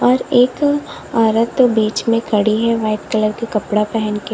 और एक औरत बीच में खड़ी है व्हाइट कलर के कपड़ा पहन के।